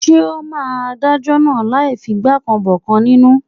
Ǹjẹ́ ó ma Adájọ́ náà láì figbá kan bọ̀kan nínú?